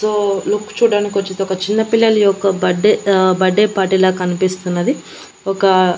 తో లుక్ చూడ్డానికి ఒచ్చింది ఒక చిన్న పిల్లల యొక్క బడ్డే ఆ బడ్డే పార్టీలా కనిపిస్తున్నది ఒక--